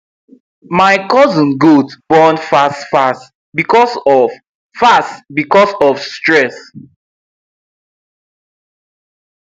my cousin goat born fast fast because of fast because of stress